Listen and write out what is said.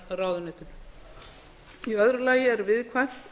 nýsköpunarráðuneytinu í öðru lagi er viðkvæmt